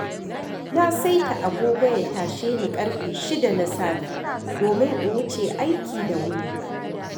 Na saita agogo ya tashe ni ƙarfe shida na safe domin in wuce aiki da wuri.